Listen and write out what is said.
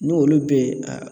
N'olu bɛ yen a